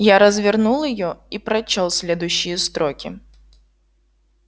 я развернул её и прочёл следующие строки